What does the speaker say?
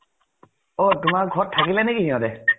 অ । তোমাৰ ঘৰ ত থাকিলে নেকি সিহঁতে ?